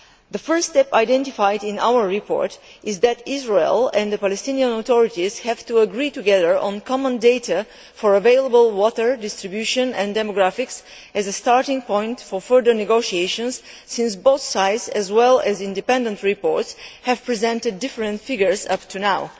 The first step identified in our report is that Israel and the Palestinian Authorities have to agree together on common data concerning available water distribution and demographics as a starting point for further negotiations, since both sides as well as independent reports have presented different figures up to now.